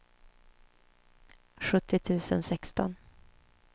sjuttio tusen sexton